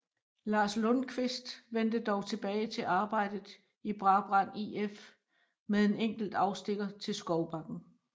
Lars Lundkvist vendte dog tilbage til arbejdet i Brabrand IF med en enkelt afstikker til Skovbakken